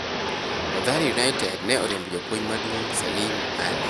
Mathare united ne oriembo Japuonj maduong Salim Ali